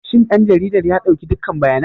Shin ɗan jarida ya ɗauki dukkan bayanan?